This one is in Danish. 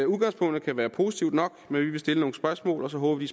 udgangspunktet kan være positivt nok men vi vil stille nogle spørgsmål og så håber vi